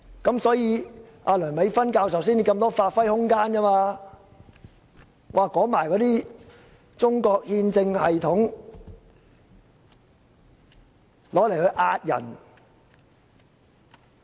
因此，梁美芬教授才有如此多發揮空間，可利用中國憲政系統嚇唬市民。